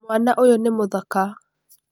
Mwana ũyũ nĩ mũthaka.